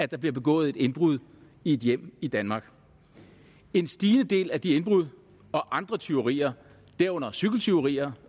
der begået et indbrud i et hjem i danmark en stigende del af de indbrud og andre tyverier herunder cykeltyverier